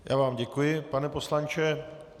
Já vám děkuji, pane poslanče.